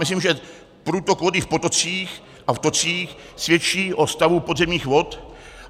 Myslím, že průtok vody v potocích a v tocích svědčí o stavu podzemních vod.